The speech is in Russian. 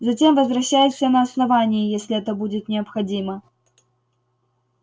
затем возвращайся на основание если это будет необходимо